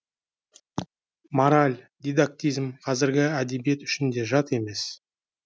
мораль дидактизм қазіргі әдебиет үшін де жат емес